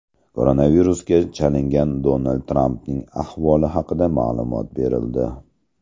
Koronavirusga chalingan Donald Trampning ahvoli haqida ma’lumot berildi.